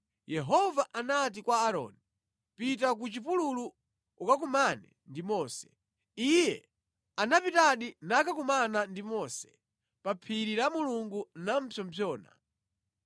Yehova anati kwa Aaroni, “Pita ku chipululu ukakumane ndi Mose.” Iye anapitadi nakakumana ndi Mose pa phiri la Mulungu namupsompsona.